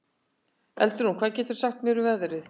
Eldrún, hvað geturðu sagt mér um veðrið?